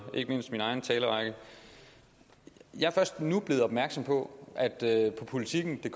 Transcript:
mine egne taler jeg er først nu blevet opmærksom på at der